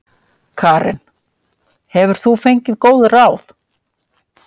Karen: Hefur þú fengið góð ráð?